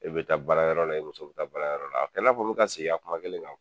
E be taa baarayɔrɔ la i muso be taa baarayɔrɔ la, a tɛ n'a fɔ n be ka seg'i ka kuma kelen kan